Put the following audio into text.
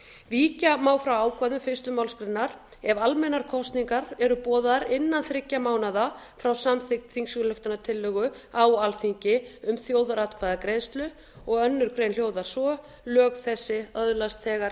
víkja má frá ákvæðum fyrstu málsgrein ef almennar kosningar eru boðaðar innan þriggja mánaða frá samþykkt þingsályktunartillögu á alþingi um þjóðaratkvæðagreiðslu önnur grein hljóðar svo lög þessi öðlast þegar